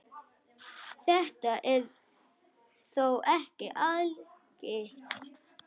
Þetta er þó ekki algilt.